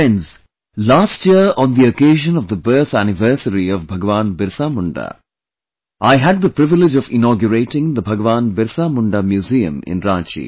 Friends, Last year on the occasion of the birth anniversary of Bhagwan Birsa Munda, I had the privilege of inaugurating the Bhagwan Birsa Munda Museum in Ranchi